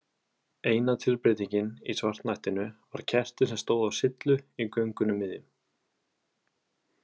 Eina tilbreytingin í svartnættinu var kerti sem stóð á syllu í göngunum miðjum.